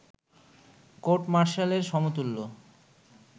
court মার্শালের সমতুল্য